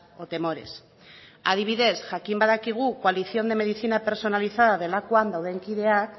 o temores adibidez jakin badakigu coalición de medicina personalizada delakoan dauden kideak